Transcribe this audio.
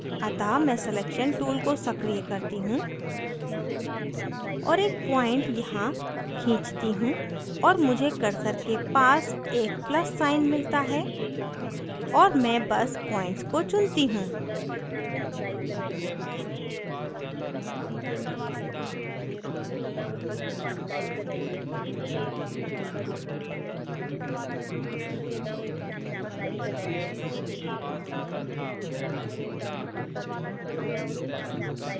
अतः मैं selection tool को सक्रिय करती हूँ और एक points यहाँ खींचती हूँ और मुझे cursor के पास एक plus साइन मिलता है और मैं बस points को चुनती हूँ